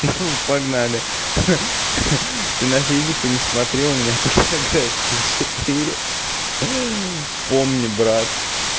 ну погнали ха ха ты на физику не смотри у меня по географии четыре помни брат